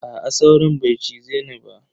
Aa sauron bai cize ni ba.